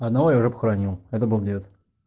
одного я уже похоронил это был дед